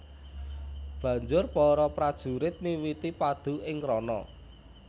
Banjur para prajurit miwiti padu ing rana